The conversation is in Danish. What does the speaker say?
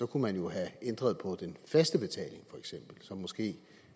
kunne man jo have ændret på den faste betaling feks som måske